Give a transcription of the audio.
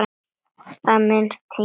Í það minnsta hingað til.